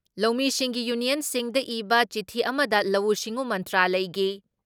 ꯂꯧꯃꯤꯁꯤꯡꯒꯤ ꯌꯨꯅꯤꯌꯟꯁꯤꯡꯗ ꯏꯕ ꯆꯤꯊꯤ ꯑꯃꯗ ꯂꯧꯎ ꯁꯤꯡꯎ ꯃꯟꯇ꯭ꯔꯂꯌꯒꯤ